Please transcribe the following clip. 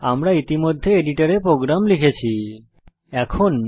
আমি ইতিমধ্যে এডিটরে প্রোগ্রাম লিখে ফেলেছি